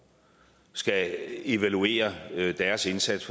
skal evaluere deres indsats